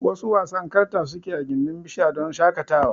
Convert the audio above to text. Wasu wasan karta sukeyi I gindin bishara don shaƙatawa